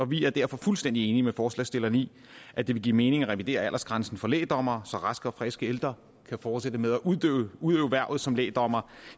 vi er derfor fuldstændig enige med forslagsstilleren i at det vil give mening at revidere aldersgrænsen for lægdommere så raske og friske ældre kan fortsætte med at udøve hvervet som lægdommere